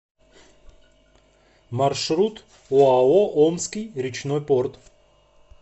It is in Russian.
маршрут оао омский речной порт